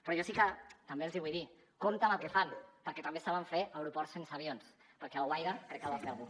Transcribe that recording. però jo sí que també els hi vull dir compte amb el que fan perquè també saben fer aeroports sense avions perquè alguaire crec que el va fer algú